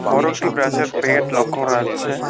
বড় একটি ব্রাশের পেট লক্ষ্য করা যাচ্ছে।